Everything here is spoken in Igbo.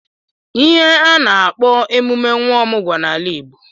Ihe a na-akpo emume nwa ọmụgwọ n'ala Igbo.